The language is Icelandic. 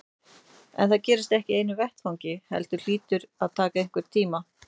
En það gerist ekki í einu vetfangi heldur hlýtur það að taka einhvern tíma.